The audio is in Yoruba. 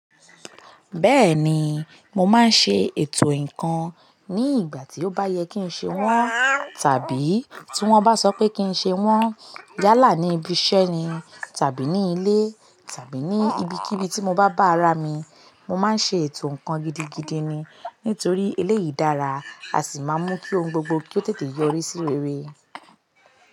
Bẹ́ẹ̀ni, mo máa ń ṣe ètò ǹkan ní ìgbà tí ó bá yẹ kí n ṣe wọ́n tàbí tí wọ́n bá sọ pé kí n ṣe wọ́n. Yálà ní ibi iṣẹ́ ni tàbí ní ilé tàbí ní ibikíbi tí mo bá bá ara mi, mo máa ń ṣe ètò ǹkan gidigidi ni. Nítorí eléyìí dára, a sì máa ń mú kí ohun gbogbo kí ó tètè yọrí sí rere.